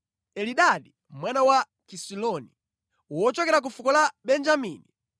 Elidadi mwana wa Kisiloni, wochokera ku fuko la Benjamini;